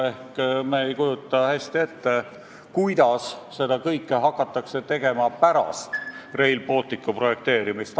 Ehk me ei kujuta hästi ette, kuidas seda kõike hakatakse tegema pärast Rail Balticu projekteerimist.